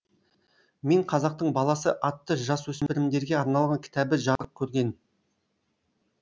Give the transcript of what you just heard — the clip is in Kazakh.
мен қазақтың баласы атты жасөспірімдерге арналған кітабы жарық көрген